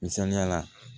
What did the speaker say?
Misaliyala